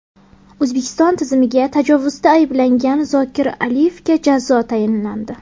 O‘zbekiston tuzumiga tajovuzda ayblangan Zokir Aliyevga jazo tayinlandi.